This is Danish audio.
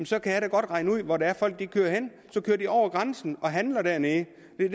så kan jeg da godt regne ud hvor det er folk kører hen så kører de over grænsen og handler dernede